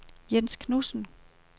Jens Knudsen